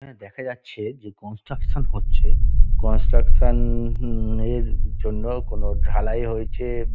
এখানে দেখা যাচ্ছে যে কনস্ট্রাকশন হচ্ছে। কনস্ট্রাকশন এর জন্য কোন ঢালাই হয়েছে।